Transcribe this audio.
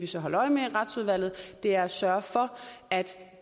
så holde øje med i retsudvalget er at sørge for at